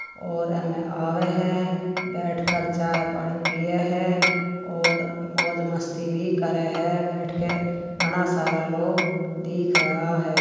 और हमें आवे है बैठ कर चाय पानी पिए है और मौज मस्ती भी करे है बैठ के घणा सारा लोग दिख रहा है।